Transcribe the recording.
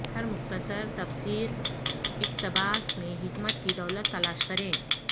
ہر مختصر تفسیر اقتباس میں حکمت کی دولت تلاش کریں